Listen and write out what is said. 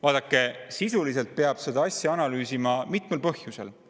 Vaadake, seda peab sisuliselt analüüsima mitmel põhjusel.